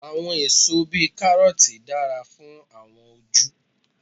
Àwọn èso bíi Kárọ́ọ̀tì dára fún àwọn ojú.